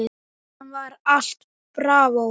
Síðan var allt bravó.